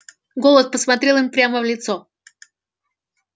голод посмотрел им прямо в лицо